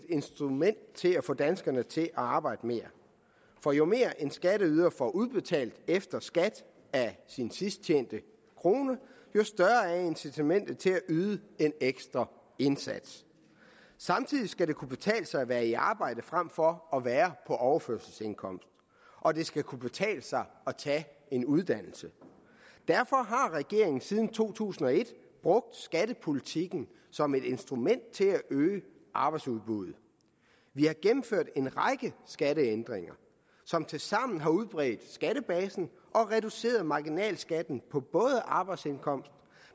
instrument til at få danskerne til at arbejde mere for jo mere en skatteyder får udbetalt efter skat af sin sidst tjente krone jo større er incitamentet til at yde en ekstra indsats samtidig skal det kunne betale sig at være i arbejde frem for at være på overførselsindkomst og det skal kunne betale sig at tage en uddannelse derfor har regeringen siden to tusind og et brugt skattepolitikken som et instrument til at øge arbejdsudbuddet vi har gennemført en række skatteændringer som tilsammen har udbredt skattebasen og reduceret marginalskatten på både arbejdsindkomster